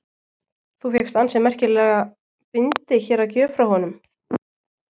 Þú fékkst ansi merkilega bindi hér að gjöf frá honum?